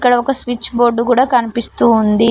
ఇక్కడ ఒక switch board కూడా కనిపిస్తూ ఉంది.